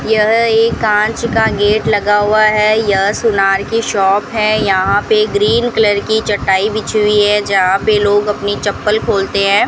यह एक कांच का गेट लगा हुआ है यह सोनार की शॉप है यहां पे ग्रीन कलर की चटाई बिछी हुई है जहां पे लोग अपनी चप्पल खोलते हैं।